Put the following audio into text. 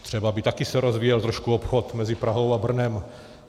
Třeba by se taky rozvíjel trošku obchod mezi Prahou a Brnem.